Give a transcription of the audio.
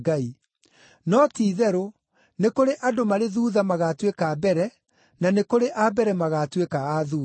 No ti-itherũ, nĩ kũrĩ andũ marĩ thuutha magaatuĩka a mbere, na nĩ kũrĩ a mbere magaatuĩka a thuutha.”